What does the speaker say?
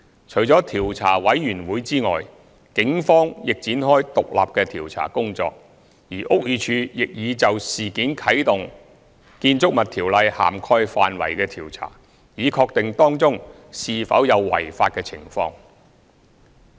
除了調查委員會外，警方亦已展開獨立的調查工作，而屋宇署亦已就事件啟動《建築物條例》涵蓋範圍的調查，以確定當中是否有違法的情況。